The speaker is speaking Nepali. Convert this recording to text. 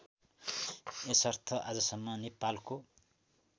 यसर्थ आजसम्म नेपालको